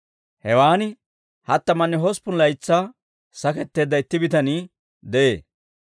Hewaan hattamanne hosppun laytsaa saketteedda itti bitanii de'ee.